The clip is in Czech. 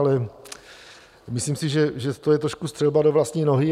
Ale myslím si, že je to trošku střelba do vlastní nohy.